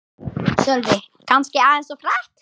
Sölvi: Kannski aðeins of hratt